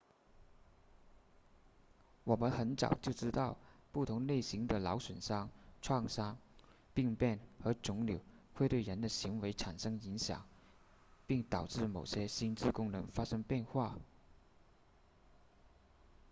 我们很早就知道不同类型的脑损伤创伤病变和肿瘤会对人的行为产生影响并导致某些心智功能发生变化